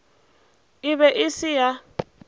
e be e se ya